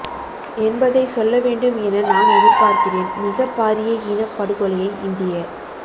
என்பதை சொல்லவேண்டும் என நான் எதிர் பார்கிறேன் மிகப் பாரிய இனப் படுகொலையை இந்திய